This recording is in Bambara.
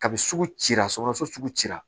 Kabi sugu cira sɔgɔsɔgɔ sugu ci la